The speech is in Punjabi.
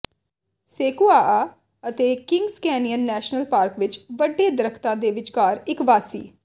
ਸੇਕੁਆਆ ਅਤੇ ਕਿੰਗਜ਼ ਕੈਨਿਯਨ ਨੈਸ਼ਨਲ ਪਾਰਕ ਵਿਚ ਵੱਡੇ ਦਰਖ਼ਤਾਂ ਦੇ ਵਿਚਕਾਰ ਇਕ ਵਾਸੀ